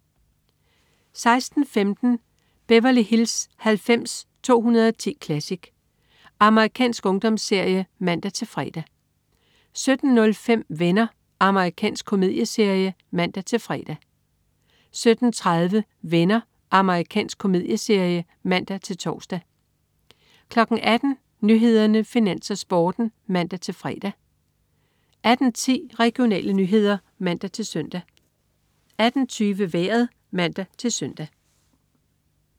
16.15 Beverly Hills 90210 Classic. Amerikansk ungdomsserie (man-fre) 17.05 Venner. Amerikansk komedieserie (man-fre) 17.30 Venner. Amerikansk komedieserie (man-tors) 18.00 Nyhederne, Finans, Sporten (man-fre) 18.10 Regionale nyheder (man-søn) 18.20 Vejret (man-søn)